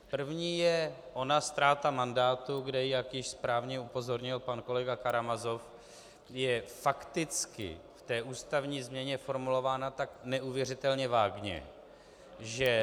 První je ona ztráta mandátu, kde - jak již správně upozornil pan kolega Karamazov - je fakticky v té ústavní změně formulována tak neuvěřitelně vágně, že -